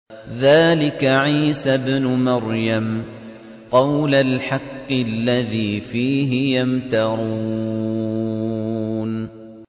ذَٰلِكَ عِيسَى ابْنُ مَرْيَمَ ۚ قَوْلَ الْحَقِّ الَّذِي فِيهِ يَمْتَرُونَ